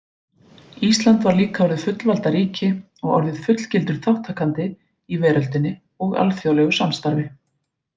Ísland var líka orðið fullvalda ríki og orðið fullgildur þátttakandi í veröldinni og alþjóðlegu samstarfi.